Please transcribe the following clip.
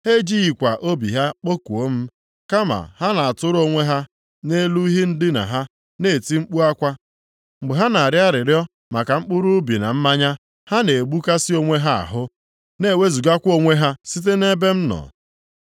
Ha ejighịkwa obi ha akpọku m, kama ha na-atụrụ onwe ha nʼelu ihe ndina ha, na-eti mkpu akwa. Mgbe ha na-arịọ arịrịọ maka mkpụrụ ubi na mmanya, ha na-egbukasị onwe ha ahụ, na-ewezugakwa onwe ha site nʼebe m nọ.